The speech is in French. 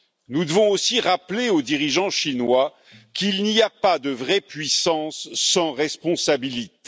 Nous devons aussi rappeler aux dirigeants chinois qu'il n'y a pas de vraie puissance sans responsabilité.